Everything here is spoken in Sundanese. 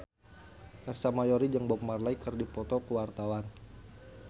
Ersa Mayori jeung Bob Marley keur dipoto ku wartawan